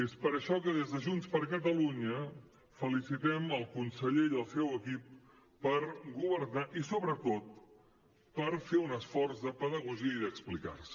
és per això que des de junts per catalunya felicitem el conseller i el seu equip per governar i sobretot per fer un esforç de pedagogia i d’explicar se